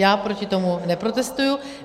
Já proti tomu neprotestuji.